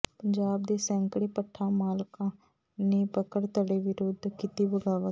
ਪੰਜਾਬ ਦੇ ਸੈਂਕੜੇ ਭੱਠਾ ਮਾਲਕਾਂ ਨੇ ਮੱਕੜ ਧੜੇ ਵਿਰੁੱਧ ਕੀਤੀ ਬਗਾਵਤ